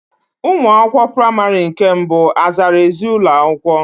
Ụmụ akwụkwọ praịmarị nke mbụ azara ezi ụlọakwụkwọ?